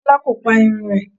Kọ́lá kò pa irun rẹ̀.